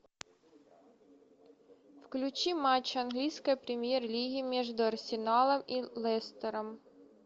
включи матч английской премьер лиги между арсеналом и лестером